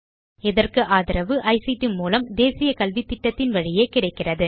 இதற்கு ஆதரவு ஐசிடி மூலம் தேசிய கல்வித்திட்டத்தின் வழியே கிடைக்கிறது